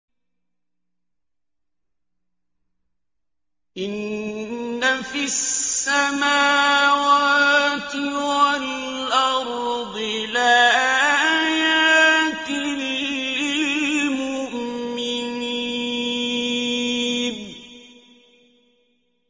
إِنَّ فِي السَّمَاوَاتِ وَالْأَرْضِ لَآيَاتٍ لِّلْمُؤْمِنِينَ